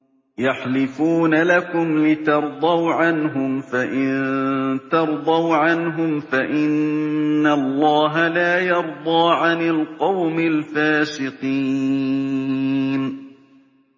يَحْلِفُونَ لَكُمْ لِتَرْضَوْا عَنْهُمْ ۖ فَإِن تَرْضَوْا عَنْهُمْ فَإِنَّ اللَّهَ لَا يَرْضَىٰ عَنِ الْقَوْمِ الْفَاسِقِينَ